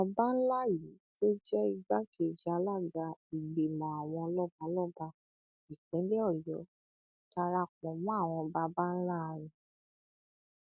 ọba ńlá yìí tó jẹ igbákejì alága ìgbìmọ àwọn lọbalọba ìpínlẹ ọyọ dara pọ mọ àwọn baba ńlá ẹ